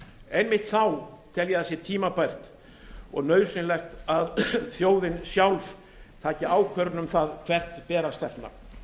einmitt þá tel ég að sé tímabært og nauðsynlegt að þjóðin sjálf taki ákvörðun um það hvert ber að stefna